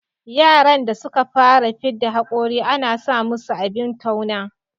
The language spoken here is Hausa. Yaran da suka fara fidda hakori ana sa musu abin tauna